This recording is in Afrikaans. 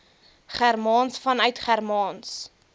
germaans vanuit germaans